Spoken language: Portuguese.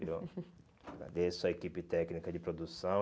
Eu agradeço a equipe técnica de produção.